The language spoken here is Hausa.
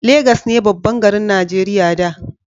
Legas ne babban garin Najeriya da